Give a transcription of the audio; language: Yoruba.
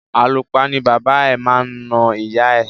Àlùpa ni bàbá ẹ̀ máa na ìyá ẹ̀.